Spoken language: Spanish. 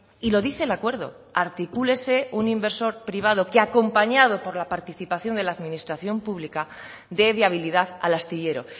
y lo dice el acuerdo articúlese un inversor privado que acompañado por la participación de la administración pública dé viabilidad al astillero